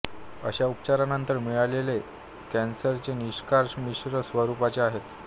अशा उपचारानंतर मिळालेले कॅन्सरचे निष्कर्ष मिश्र स्वरूपाचे आहेत